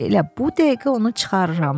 Elə bu dəqiqə onu çıxarıram.